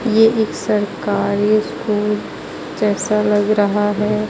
यह एक सरकारी स्कूल जैसा लग रहा है.